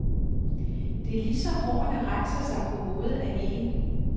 Det er lige så hårene rejser sig på hovedet af en.